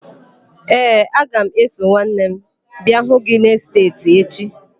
Ee, aga m eso nwanne m abịa hụ gị n'esteeti echi.